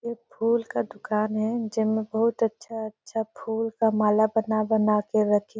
ये फूल का दुकान हे जेमा बहुत अच्छा-अच्छा फूल का माला बना के रखे--